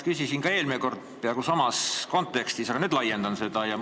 Küsisin ka eelmine kord peaaegu samas kontekstis, aga nüüd laiendan seda küsimust.